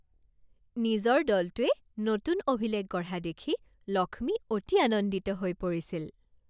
নিজৰ দলটোৱে নতুন অভিলেখ গঢ়া দেখি লক্ষ্মী অতি আনন্দিত হৈ পৰিছিল